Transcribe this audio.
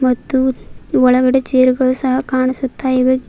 ಮತ್ತು ಒಳಗಡೆ ಚೇರು ಗಳು ಸಹ ಕಾಣಿಸುತ್ತಾ ಇವೆ.